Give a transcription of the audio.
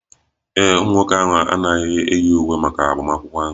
Ee e, ụmụ nwoke ahụ anaghị eji uwe maka agbamakwụkwọ ahụ